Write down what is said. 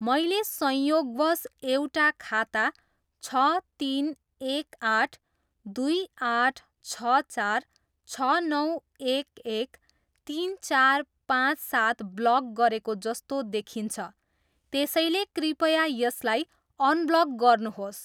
मैले संयोगवश एउटा खाता छ तिन एक आठ दुई आठ छ चार छ नौ एक एक तिन चार पाँच सात ब्लक गरेको जस्तो देखिन्छ त्यसैले कृपया यसलाई अनब्लक गर्नुहोस्।